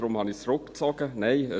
Deshalb habe ich es zurückgezogen.